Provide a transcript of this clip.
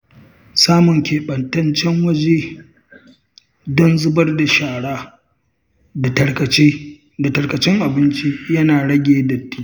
Samun keɓantaccen waje don zubar da shara da tarkacen abinci yana rage datti.